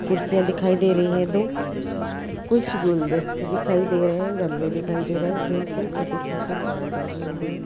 कुर्सियाँ दिखाई दे रही है दो | कुछ गुलदस्ते दिखाई दे रहे हैं गमले दिखाई दे रहे हैं जिनपे छोटे-छोटे प्लांट लगे हुए हैं।